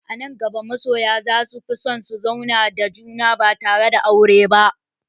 A nan gaba masoya za su fi son su zauna da juna ba tare da yin aure ba